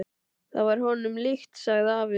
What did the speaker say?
Það var honum líkt, sagði afi.